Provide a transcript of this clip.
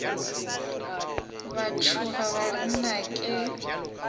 ba tšhoga ba re nnake